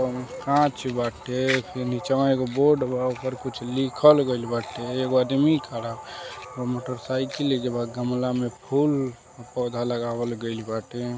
कोनो कांच बाटे। निचवा एक बोर्ड बा। ओइपर कुछ लिखल गईल बाटे। एगो आदमी खड़ा बा। मोटरसाइकिल बा। गमला मे फूल पौधा लगावल गईल बाटे।